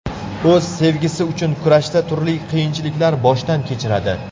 O‘z sevgisi uchun kurashda turli qiyinchiliklar boshdan kechiradi.